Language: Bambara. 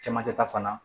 Cɛmancɛ ta fana